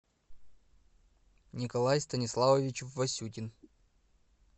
николай станиславович васютин